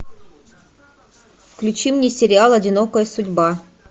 включи мне сериал одинокая судьба